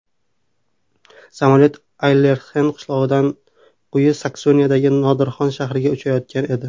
Samolyot Aylertxen qishlog‘idan Quyi Saksoniyadagi Nordxorn shahriga uchayotgan edi.